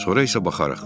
Sonra isə baxarıq.